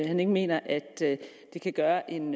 han ikke mener at det kan gøre en